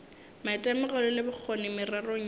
maitemogelo le bokgoni mererong yeo